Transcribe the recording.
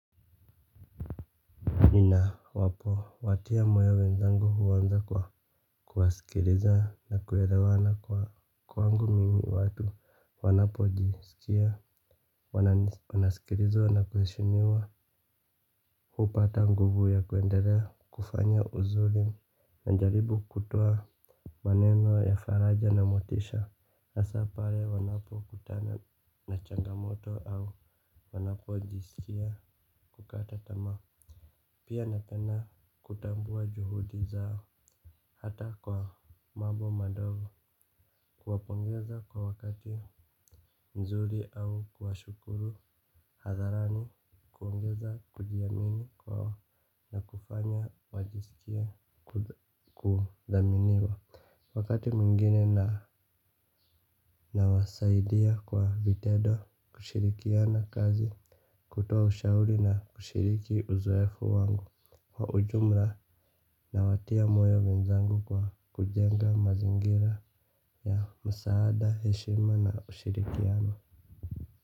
Ninapo watia moyo wenzangu huwa naanza kwa kuwasikiliza na kuelewana kwangu mimi watu wanapo jisikia wananisikiliza na kuheshimiwa. Hupa atangubu ya kuenderea kufanya uzulim na njaribu kutua. Maneno ya faraja na motisha hasa pale wanapo kutana na changamoto au wanapo jisikia kukata tamaa. Pia napenda kutambua juhudi zao hata kwa mambo madogo kuwapongeza kwa wakati nzuri au kuwashukuru hadharani kuwaongeza kujiamini kwao na kufanya wajisikie kudhaminiwa. Wakati mwingine nawasaidia kwa vitendo kushirikiana kazi. Kutoa ushauri na kushiriki uzoefu wangu wa ujumla nawatia moyo wenzangu kwa kujenga mazingira ya msaada heshima na ushirikiano.